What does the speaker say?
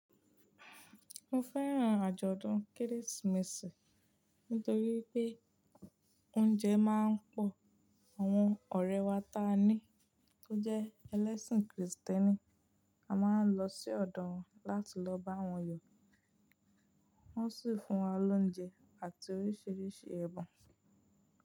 Mo fẹ́ràn àjọ̀dún Kérésìmesì nítorí pé óúnjẹ máa ń pọ̀. Àwọn ọ̀rẹ́ wa ta ni ó jẹ ẹlẹ́sìn Krìstẹ́nì, a máa ń lọ sí ọ̀dọ̀ wọn láti lọ bá wọn yọ, wọ́n sì fún wa lóúnjẹ àti oríṣiríṣi ẹ̀bùn.